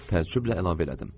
Təəccüblə əlavə elədim.